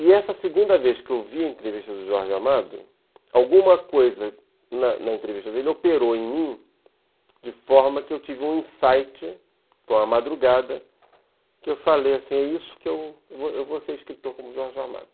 E essa segunda vez que eu vi a entrevista do Jorge Amado, alguma coisa na na entrevista dele operou em mim de forma que eu tive um insight, foi uma madrugada, que eu falei assim, é isso que eu vou ser escritor como Jorge Amado.